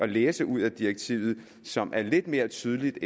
læse ud af direktivet og som er lidt mere tydeligt